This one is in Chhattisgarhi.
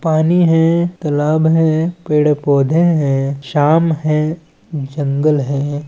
पानी है तालाब है पेड़ पौधे है शाम है जंगल है।